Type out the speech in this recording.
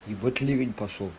ебать ливень пошёл